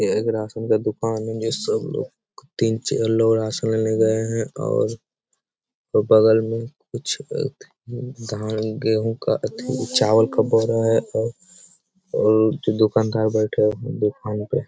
ये एक राशन का दुकान है जो सब लोग तीन चार लोग राशन लेने गए हैं और बगल में कुछ अ धान गेहूँ का अथी चावल का बोरा है और और दुकानदार बैठा हुए है दुकान पे ।